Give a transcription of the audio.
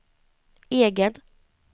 egen